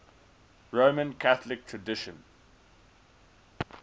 roman catholic tradition